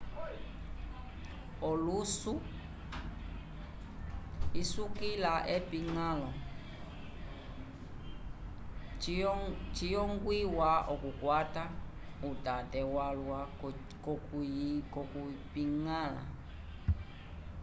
olusu isukila epiñgãlo ciyongwiwa okukwata utate walwa k'okuyipiñgala